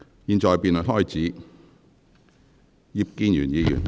現在辯論開始，是否有委員想發言？